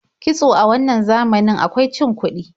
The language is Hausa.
Kitso a wannan zamanin akwai cin kuɗi.